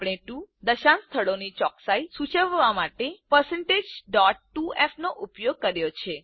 આપણે 2 દશાંશ સ્થળોની ચોકસાઇ સૂચવવા માટે 2f નો ઉપયોગ કર્યો છે